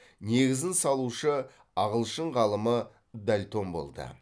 негізін салушы ағылшын ғалымы дальтон болды